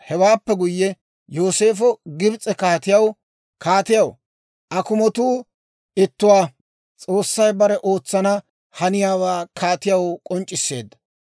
Hewaappe guyye Yooseefo Gibs'e kaatiyaa, «Kaatiyaa akumotuu ittuwaa. S'oossay bare ootsana haniyaawaa kaatiyaw k'onc'c'isseedda.